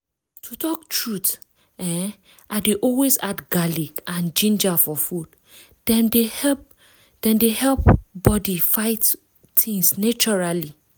to talk truth[um]i dey always add garlic and ginger for food — dem dey help dem dey help body fight things naturally